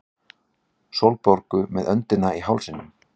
Sólborgu með öndina í hálsinum.